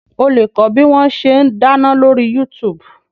O lè kọ́ bí wọn ṣe ń dáná lóri Yuutubu